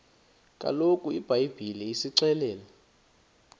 kaloku ibhayibhile isixelela